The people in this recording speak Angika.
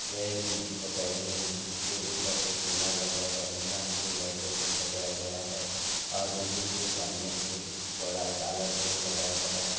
यह एक मस्जिद बताई गई है मस्जिद के ऊपर एक मीनार बताए गए है मीनार को लाइटों से सजाया गया है और मस्जिद के सामने एक बड़ा काला गेट लगाया गया है।